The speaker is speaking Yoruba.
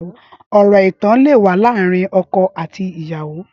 Ọrọ ẹtàn lè wà làárin ọkọ àtí ìyàwó